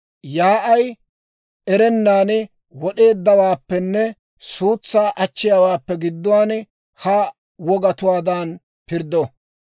yaa'ay erennan wod'eeddawaappenne suutsaa achchiyaawaappe gidduwaan ha wogatuwaadan pirddo.